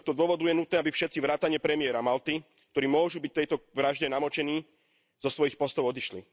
Z tohto dôvodu je nutné, aby všetci vrátane premiéra Malty, ktorí môžu byť v tejto vražde namočení, zo svojich postov odišli.